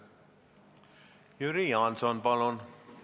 Jüri Jaanson, palun!